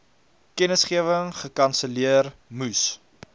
kennisgewing gekanselleer moes